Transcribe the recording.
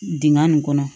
Dingɛn nin kɔnɔ